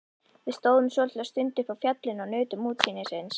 Við stóðum svolitla stund uppi á fjallinu og nutum útsýnisins.